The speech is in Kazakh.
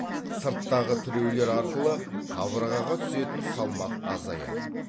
сырттағы тіреулер арқылы қабырғаға түсетін салмақ азаяды